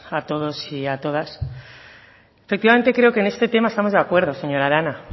a todos y a todas efectivamente creo que en este tema estamos de acuerdo señora arana